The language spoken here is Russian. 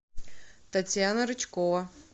татьяна рычкова